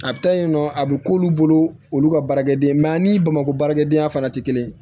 A bɛ taa yen nɔ a bɛ k'olu bolo olu ka baarakɛden mɛ ani bamakɔ baarakɛdenya fana tɛ kelen ye